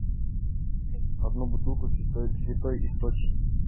одну бутылку святой источник